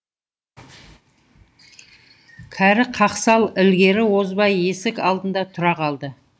кәрі қақсал ілгері озбай есік алдында тұра қалды